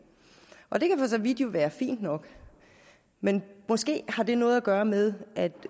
og det kan for så vidt jo være fint nok men måske har det noget at gøre med at